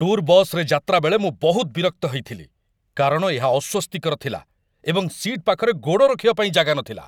Tour ବସ୍‌ରେ ଯାତ୍ରା ବେଳେ ମୁଁ ବହୁତ ବିରକ୍ତ ହେଇଥିଲି କାରଣ ଏହା ଅସ୍ୱସ୍ତିକର ଥିଲା ଏବଂ ସିଟ୍ ପାଖରେ ଗୋଡ଼ ରଖିବା ପାଇଁ ଜାଗା ନଥିଲା।